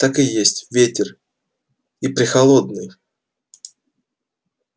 так и есть ветер и прехолодный